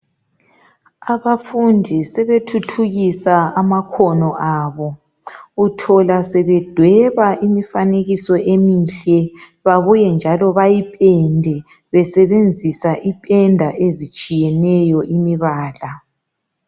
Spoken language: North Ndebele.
Abafundi sebethuthukisa amakhono abo, uthola sebedweba imifanekiso emihle babuye njalo bayipende besebenzisa ipenda ezitshiyeneyo imibala.